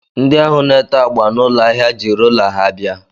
Ndị ahụ na-ete agba n'ụlọ ahịa ji rola ha bịa